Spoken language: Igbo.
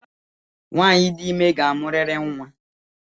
Nwanyị dị ime ga-amuriri nnwa